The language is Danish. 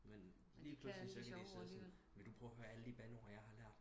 Men lige pludselig så kan de sidde sådan vil du prøve at høre alle de bandeord jeg har lært